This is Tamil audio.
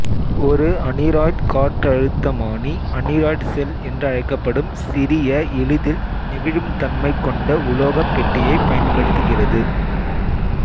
ஒரு அனிராய்ட் காற்றழுத்தமானி அனிராய்ட் செல் என்றழைக்கப்படும் சிறிய எளிதில் நெகிழும்தன்மை கொண்ட உலோகப் பெட்டியைப் பயன்படுத்துகிறது